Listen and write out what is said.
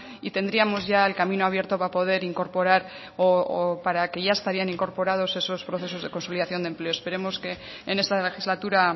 y tendríamos ya el camino abierto para poder incorporar o para que ya estarían incorporados esos procesos de consolidación de empleo esperemos que en esta legislatura